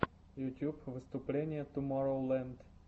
ютьюб выступление тумороу ленд